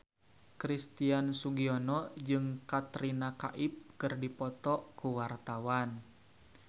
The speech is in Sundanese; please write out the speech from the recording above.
Christian Sugiono jeung Katrina Kaif keur dipoto ku wartawan